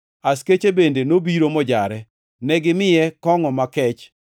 Askeche bende nobiro mojare. Negimiye kongʼo makech